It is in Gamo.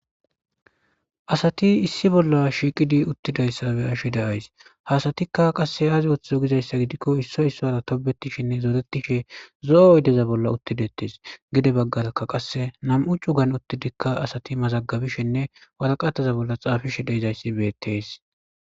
Asati issi bolla shiqidi utizaysa Be'ashe de'ays hasatika qaseka azi othozo gidaysa gidiko issoy isara tobetishene zoretishe be oyideza bolla utides gede bagara qasi na'mu cugan utidi asati magabishene wariqateza bolla xapishe dizayis betes